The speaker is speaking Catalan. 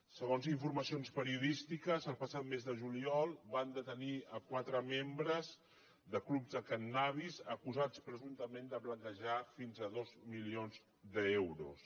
segons informacions periodístiques el passat mes de juliol van detenir quatre membres de clubs de cànnabis acusats presumptament de blanquejar fins a dos milions d’euros